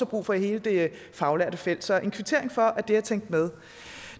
brug for i hele det faglærte felt så jeg vil kvittere for at det er tænkt med